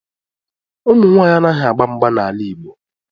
Ụmụ nwaanyị anaghị agba mgba n'ala Igbo